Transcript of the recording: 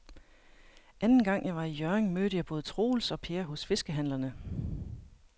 Anden gang jeg var i Hjørring, mødte jeg både Troels og Per hos fiskehandlerne.